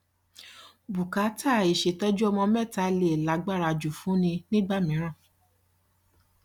bùkátà ìṣètọjú ọmọ mẹta lè lágbára jù fún ni nígbà mìíràn